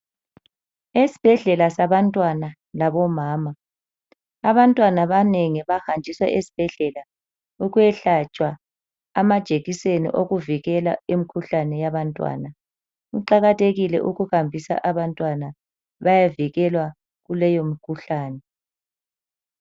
Esibhedlela sabantwana labomama abantwana abanengi bahanjiswa esibhedlela ukwehlatshwa amajekiseni okuvikela imkhuhlane yabantwana. Kuqakathekile ukuhambisa abantwana bayevikelwa kuleyo mkhuhlane.